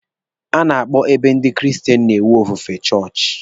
A na-akpọ ebe ndị kristen na-enwe ofufe chọọchị.